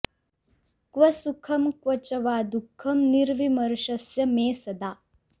क्व सुखं क्व च वा दुखं निर्विमर्शस्य मे सदा